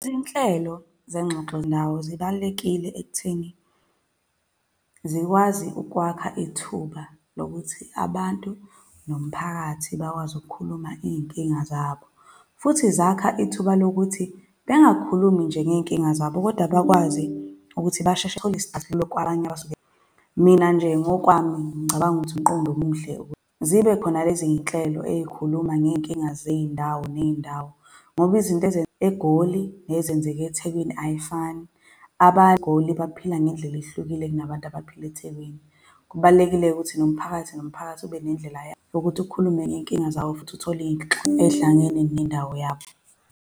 Izinhlelo zezingxoxo zendawo zibalulekile ekutheni zikwazi ukwakha ithuba lokuthi abantu nomphakathi bakwazi ukukhuluma iy'nkinga zabo. Futhi zakha ithuba lokuthi bengakhulumi nje ngey'nkinga zabo, kodwa bakwazi ukuthi basheshe bathole isixazululo kwabanye abasuke . Mina nje ngokwami, ngicabanga ukuthi umqondo omuhle ukuthi zibe khona lezi iy'nhlelo ezikhuluma ngey'nkinga zey'ndawo ney'ndawo ngoba izinto eGoli, ezenzeka eThekwini ayifani, eGoli baphila ngey'ndlela ehlukile nabantu abaphila eThekwini. Kubalulekileke ukuthi nomphakathi nomphakathi ube nendlela yokuthi ukhulume ngey'nkinga zawo, futhi uthole iy'nhlelo ezihlangene nendawo yabo.